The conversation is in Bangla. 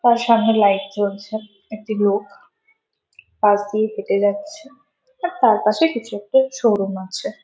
তার সামনে লাইট জ্বলছে একটি লোক পাশ দিয়ে হেঁটে যাচ্ছে আর তার পাশে কিছু একটা শোরুম আছে ।